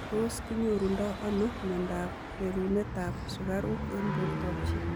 Tos kinyorundoi anoo miondoop rerunet ap sukaruuk eng portoop chii ?